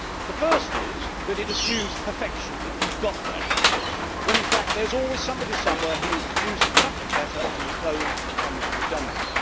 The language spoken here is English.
The first is that it assumes perfection that you have got there' when in fact there is always somebody somewhere who will produce something better, and the clone becomes redundant.